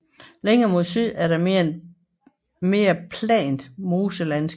Længere mod syd er der et mere plant moselandskab